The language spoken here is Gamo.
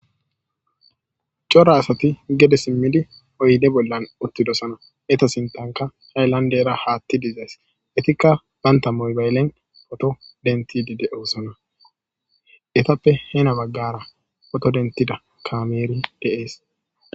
C'ora asati gede simidi oyde bolan utidosona eta sitanka halandera hatay dees etika banta mobaylen photo dentishe dosona etape hena bagara photo dentidi eqida kamey dees.